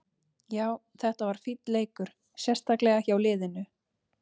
Já, þetta var fínn leikur, sérstaklega hjá liðinu.